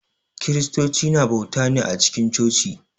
Kiristocu na bauta ne a cikin coci.